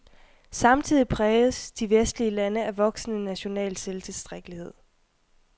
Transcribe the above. Samtidig præges de vestlige lande af voksende national selvtilstrækkelighed.